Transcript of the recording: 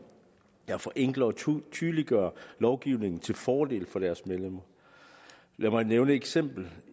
der forenkler og tydeliggør lovgivningen til fordel for deres medlemmer lad mig nævne et eksempel